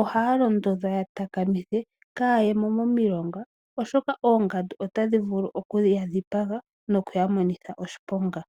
ohaya londodhwa ya takamithe kaayemo momilonga , oshoka Oongandu otadhi vulu okudhiya dhipaga no kuya monitha oshiponga.